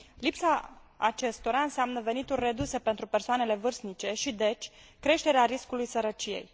Lipsa acestora înseamnă venituri reduse pentru persoanele vârstnice și, deci, creșterea riscului sărăciei.